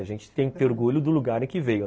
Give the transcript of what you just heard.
A gente tem que ter orgulho do lugar em que veio.